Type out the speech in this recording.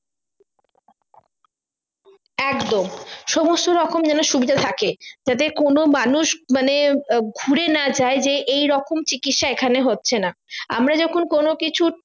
একদম সমস্ত রকম যেন সুবিধা থাকে যাতে কোনো মানুষ মানে ঘুরে না যাই যে এই রকম চিকিৎসা এখানে হচ্ছে না আমরা যখন কোনো কিছু